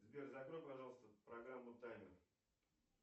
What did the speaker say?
сбер закрой пожалуйста программу таймер